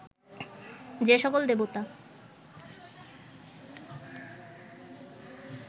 যে সকল দেবতা